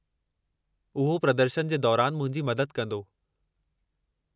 उहो प्रदर्शनु जे दौरानि मुंहिंजी मदद कंदो।